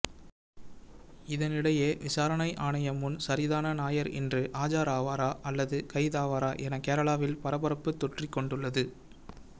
இதனிடையே விசாரணை ஆணையம் முன் சரிதான நாயர் இன்று ஆஜராவாரா அல்லது கைதாவாரா என கேரளாவில் பரபரப்பு தொற்றிக் கொண்டுள்ளது